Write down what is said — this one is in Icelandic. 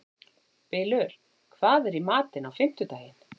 Bylur, hvað er í matinn á fimmtudaginn?